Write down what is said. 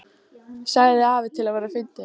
sagði afi til að vera fyndinn.